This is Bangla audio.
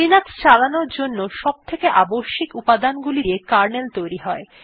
লিনাক্স চালানোর জন্য সবথেকে আবশ্যিক উপাদানগুলি দিয়ে কার্নেল তৈরী হয়